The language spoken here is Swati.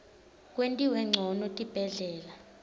kwentiwe ncono tibhedlela